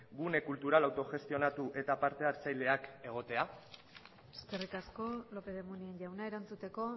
gune kultural autogestionatu eta parte hartzaileak egotea eskerrik asko lópez de munain jauna erantzuteko